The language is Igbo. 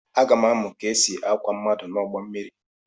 Aga m amụ otú e si akwọ mmadụ n’ụgbọ mmiri.